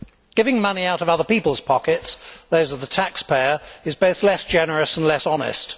Giving money out of other peoples' pockets, those of the taxpayer, is both less generous and less honest.